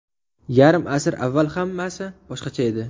Yarim asr avval hammasi boshqacha edi.